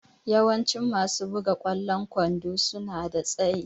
Yawancin masu buga ƙwallon kwando suna da tsayi.